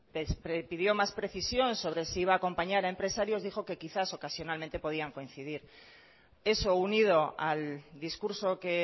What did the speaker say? pidió más precisión sobre si iba a acompañar a empresarios dijo que quizás ocasionalmente podían coincidir eso unido al discurso que